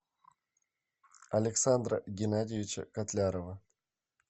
александра геннадьевича котлярова